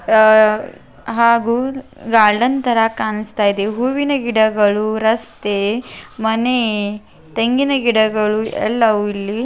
ಅಹ್ ಹಾಗೂ ಗಾರ್ಡನ್ ತರ ಕಾಣುಸ್ತಾ ಇದೆ ಹೂವಿನ ಗಿಡಗಳು ರಸ್ತೆ ಮನೆ ತೆಂಗಿನ ಗಿಡಗಳು ಎಲ್ಲವೂ ಇಲ್ಲಿ --